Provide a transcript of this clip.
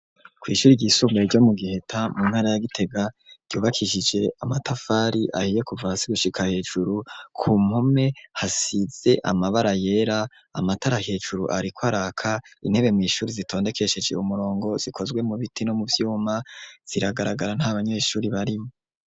ku ishuri ry'isunga e ryo mu giheta mu ntara ya gitega ryubakishije amatafari ahiye kuvaha sigushika hejuru ku mpume hasize amabara yera amatara hejuru ariko araka intebe mu ishuri zitondekesheje umurongo zikozwe mu biti no mu byuma ziragaragara nta banyeshuri barimo